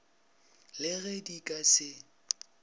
le ge di ka se